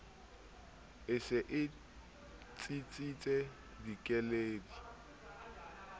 e se e tsitsitse dikeledi